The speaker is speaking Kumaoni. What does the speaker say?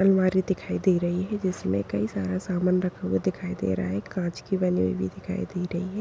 अलमारी दिखाई दे रही है जिसमे कई सारा सामान रखा हुआ दिखाई दे रहा है काँच की बनी हुई भी दिखाई दे रही है।